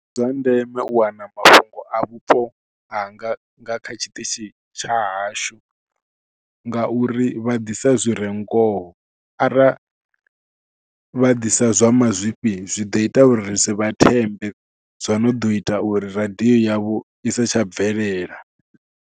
Ndi zwa ndeme u wana mafhungo a vhupo hanga nga kha tshiṱitshi tsha hashu ngauri vha ḓisa zwi re ngoho, ara vha ḓisa zwa mazwifhi zwi ḓo ita uri ri si vha thembe, zwo no ḓo ita uri radio yavho i sa tsha bvelela.